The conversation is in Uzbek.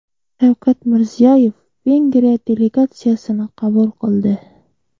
Shavkat Mirziyoyev Vengriya delegatsiyasini qabul qildi.